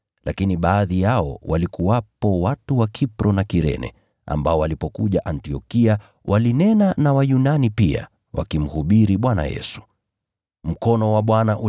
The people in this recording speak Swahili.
Lakini baadhi yao walikuwepo watu wa Kipro na Kirene, ambao walipokuja Antiokia walinena na Wayunani pia wakiwahubiria habari njema za Bwana Yesu.